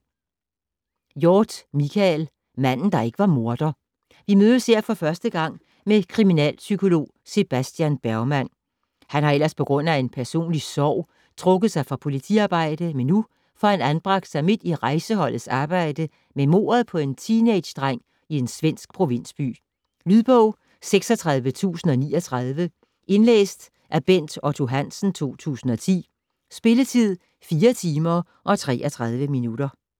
Hjorth, Michael: Manden der ikke var morder Vi møder her for første gang kriminalpsykolog Sebastian Bergman. Han har ellers pga. en personlig sorg trukket sig fra politiarbejde, men nu får han anbragt sig midt i Rejseholdets arbejde med mordet på en teenagedreng i en svensk provinsby. Lydbog 36039 Indlæst af Bent Otto Hansen, 2010. Spilletid: 4 timer, 33 minutter.